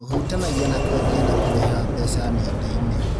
ũhutanagia na kwendia na kũrĩha mbeca nenda-inĩ